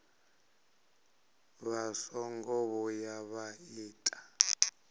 vha songo vhuya vha ita